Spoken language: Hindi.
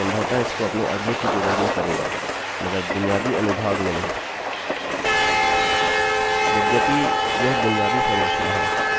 बस इसको एक बार करिए मैं संभवतः इसको अपने अगले ट्यूटोरियल में करूँगा मगर बुनियादी अनुभाग में नहीं